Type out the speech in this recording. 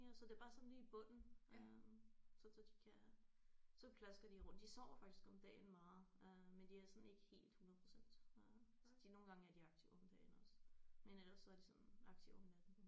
Ja så det er bare sådan lige i bunden øh sådan så de kan så plasker de rundt de sover faktisk om dagen meget øh men de er sådan ikke helt 100% øh så de nogle gange er de aktive om dagen også men ellers så er de sådan aktive om natten